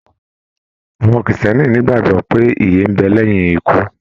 Àwọn kírísítẹ́nì n'igbagbọ pé ìyè n bẹ lẹyìn ikú.